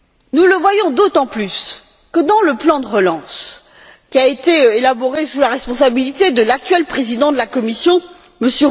Nous le voyons d'autant plus que, dans le plan de relance qui a été élaboré sous la responsabilité de l'actuel président de la Commission, M.